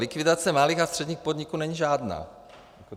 Likvidace malých a středních podniků není žádná.